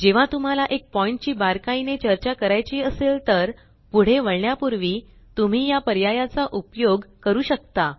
जेव्हा तुम्हाला एक पॉइण्ट ची बारकाईने चर्चा करायची असेल तर पुढे वळण्यापूर्वी तुम्ही या पर्यायचा उपयोग करू शकता